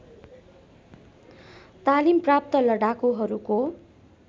तालिम प्राप्त लडाकुहरूको